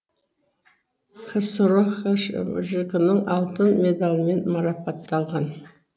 ксро хшжк нің алтын медалімен марапатталған